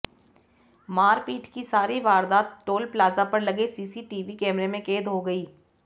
मारपीट की सारी वारदात टोल प्लाजा पर लगे सीसीटीवी कैमरे में कैद हो गई